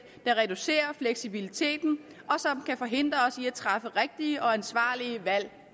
der reducerer fleksibiliteten og kan forhindre os i at træffe rigtige og ansvarlige valg